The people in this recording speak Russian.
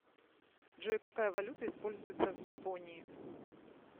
джой какая валюта используется в японии